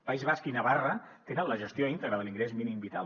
país basc i navarra tenen la gestió íntegra de l’ingrés mínim vital